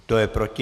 Kdo je proti?